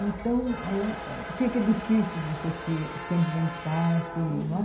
Então, lá é fica difícil você se se ambientar se não é.